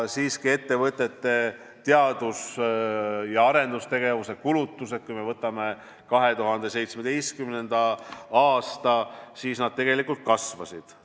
Siiski ettevõtete teadus- ja arendustegevuse kulutused, kui me vaatame 2017. aastat, kasvasid.